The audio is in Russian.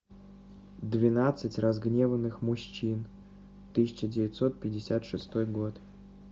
двенадцать разгневанных мужчин тысяча девятьсот пятьдесят шестой год